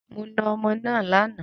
Mo náà ọmọ náà lànà